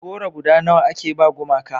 goro guda nawa a ke ba gumaka